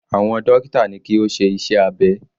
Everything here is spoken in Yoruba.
Àwọn dókítà ní kí ó ṣe iṣẹ́ abẹ.